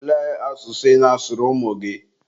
olee asụsụ ị na-asụrụ ụmụ gị?